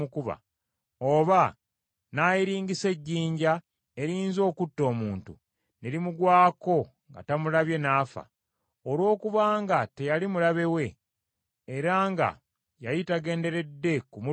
oba n’ayiringisa ejjinja, eriyinza okutta omuntu, ne limugwako nga tamulabye, n’afa; olwokubanga teyali mulabe we, era nga yali tagenderedde kumulumya;